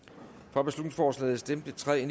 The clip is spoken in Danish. for beslutningsforslaget stemte tre